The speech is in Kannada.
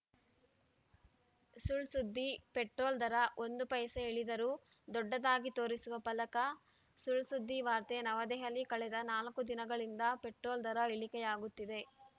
ಸುಳ್‌ ಸುದ್ದಿ ಪೆಟ್ರೋಲ್‌ ದರ ಒಂದು ಪೈಸೆ ಇಳಿದರೂ ದೊಡ್ಡದಾಗಿ ತೋರಿಸುವ ಫಲಕ ಸುಳ್‌ಸುದ್ದಿ ವಾರ್ತೆ ನವದೆಹಲಿ ಕಳೆದ ನಾಲ್ಕು ದಿನಗಳಿಂದ ಪೆಟ್ರೋಲ್‌ ದರ ಇಳಿಕೆಯಾಗುತ್ತಿದೆ